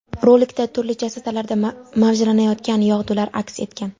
Rolikda turli chastotalarda mavjlanayotgan yog‘dular aks etgan.